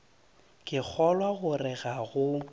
ke kgolwa gore ga go